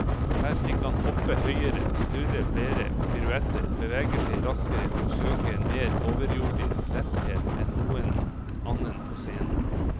Her fikk han hoppe høyere, snurre flere piruetter, bevege seg raskere og søke en mer overjordisk letthet enn noen annen på scenen.